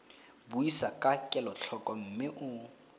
buisa ka kelotlhoko mme o